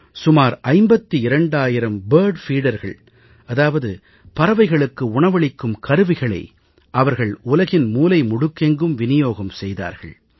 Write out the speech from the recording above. சுமார் 52000 பறவைகளுக்கு தானியம் ஊட்டிகள் பறவைகளுக்கு உணவளிக்கும் கருவிகளை அவர்கள் உலகின் மூலை முடுக்கெங்கும் விநியோகம் செய்தார்கள்